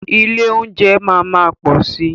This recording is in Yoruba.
Ilé óúnjẹ máa má pọ̀ si.